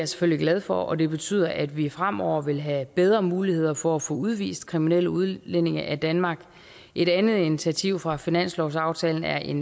selvfølgelig glad for og det betyder at vi fremover vil have bedre muligheder for at få udvist kriminelle udlændinge af danmark et andet initiativ fra finanslovsaftalen er en